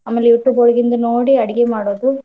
ಆಮೇಲೆ YouTube ಒಳಗಿಂದ ನೋಡಿ ಅಡ್ಗೆ ಮಾಡೋದು ಇದನ್ನೇ.